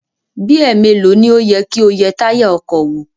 Bí ẹ̀ẹ̀melòó ni ó yẹ kí o yẹ táyà ọkọ̀ wò?